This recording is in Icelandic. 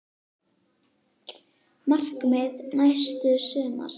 Markmið næsta sumars?